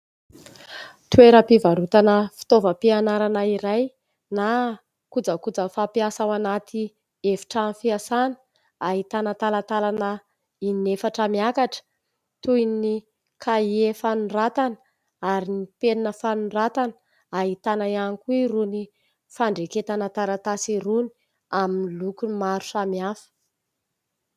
Toeram-pivarotana fitaovam-pianarana iray na kojakoja fampiasa ao anaty efitrano fiasàna ; ahitana talatalana in-efatra miakatra toy ny kahie fanoratana ary ny penina fanoratana, ahitana ihany koa irony fandraiketana taratasy irony amin'ny lokony maro samihafa.